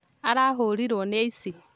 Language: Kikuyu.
Arahũrirwo nĩ aici